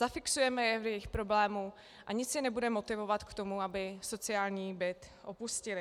Zafixujeme je v jejich problému a nic je nebude motivovat k tomu, aby sociální byt opustili.